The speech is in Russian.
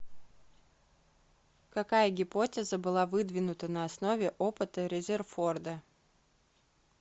какая гипотеза была выдвинута на основе опыта резерфорда